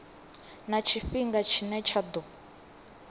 na tshifhinga tshine tsha ḓo